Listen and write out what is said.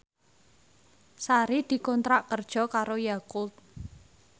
Sari dikontrak kerja karo Yakult